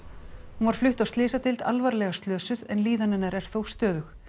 hún var flutt á slysadeild alvarlega slösuð en líðan hennar er þó stöðug